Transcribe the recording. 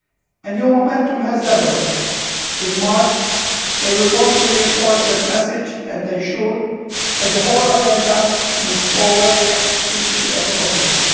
A new momentum has developed in March they will want to reinforce that message and ensure that the whole agenda moves forward as quickly as possible.